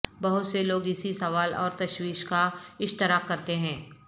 بہت سے لوگ اسی سوال اور تشویش کا اشتراک کرتے ہیں